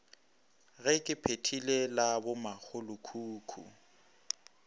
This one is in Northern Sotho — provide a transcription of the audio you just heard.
ge ke phethile la bomakgolokhukhu